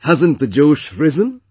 Hasn't the Josh risen